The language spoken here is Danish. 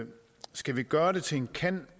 skal vi gøre det til en kan